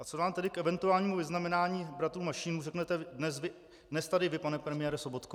A co nám tedy k eventuálnímu vyznamenání bratrů Mašínů řeknete dnes tady vy, pane premiére Sobotko?